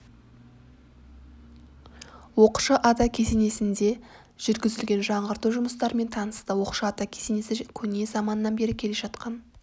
оқшы ата кесенесінде жүргізілген жаңғырту жұмыстарымен танысты оқшы ата кесенесі көне заманнан бері келе жатқан